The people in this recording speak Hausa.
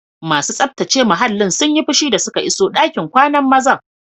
Masu tsaftace muhallin sun yi fushi da suka iso ɗakin kwanan mazan.